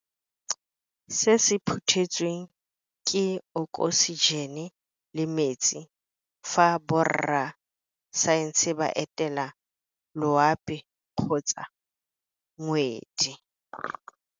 Se se phuthetsweng, ke okosijene le metsi fa borra saense ba etela loapi kgotsa ngwedi.